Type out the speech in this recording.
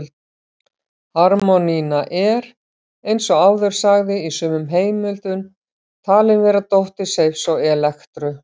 Harmonía er, eins og áður sagði, í sumum heimildum talin vera dóttir Seifs og Elektru.